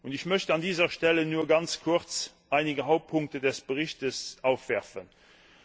Ich möchte an dieser Stelle nur ganz kurz einige Hauptpunkte des Berichts ansprechen.